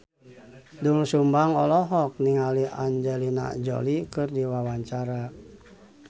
Doel Sumbang olohok ningali Angelina Jolie keur diwawancara